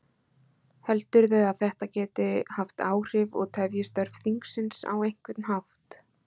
Heldurðu að þetta geti haft áhrif og tefji störf þingsins á einhvern hátt?